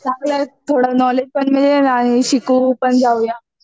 चांगल थोड नॉलेज पण मिळेल आणि शिकू पण जाऊया.